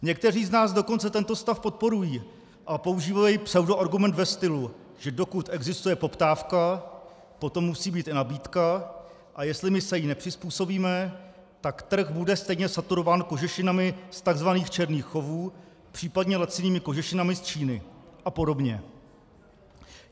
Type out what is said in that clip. Někteří z nás dokonce tento stav podporují a používají pseudoargument ve stylu, že dokud existuje poptávka, potom musí být i nabídka, a jestli my se jí nepřizpůsobíme, tak trh bude stejně saturován kožešinami z tzv. černých chovů, případně lacinými kožešinami z Číny a podobně.